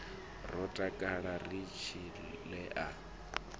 ro takala ri tshile a